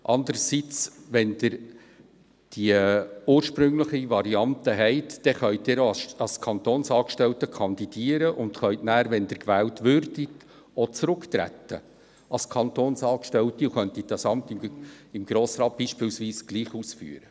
Mit der ursprünglichen Variante können Sie als Kantonsangestellter kandidieren, und sollten Sie gewählt werden, können Sie als Kantonsangestellter zurücktreten, um das Grossratsamt gleichwohl auszuüben.